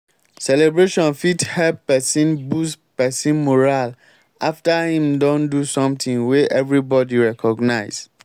celebration fit help person boost person morale after im don do something we everybody recognise